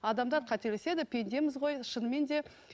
адамадар қателеседі пендеміз ғой шынымен де